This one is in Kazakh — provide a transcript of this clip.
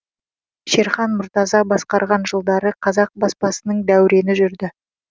шерхан мұртаза басқарған жылдары қазақ баспасының дәурені жүрді